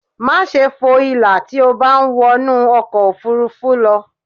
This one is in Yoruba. Máṣe fo ìlà tí o bá ń wọnú ọkọ̀ ofurufú lọ